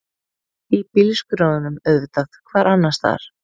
Í bílskrjóðnum auðvitað, hvar annarstaðar?